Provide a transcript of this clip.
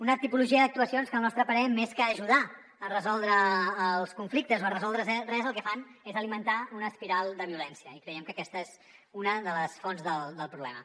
una tipologia d’actuacions que al nostre parer més que ajudar a resoldre els conflictes o a resoldre res el que fan és alimentar una espiral de violència i creiem que aquesta és una de les fonts del problema